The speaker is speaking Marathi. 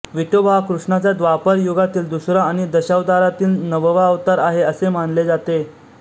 विठोबा हा कृष्णाचा द्वापार युगातील दुसरा आणि दशावतारातील नववा अवतार आहे असे मानले जाते